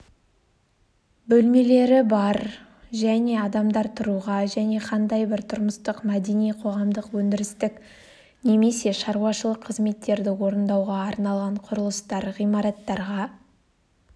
бөлмелері бар және адамдар тұруға және қандай бір тұрмыстық мәдени-қоғамдық өндірістік немесе шаруашылық қызметтерді орындауға арналған құрылыстар ғимараттарға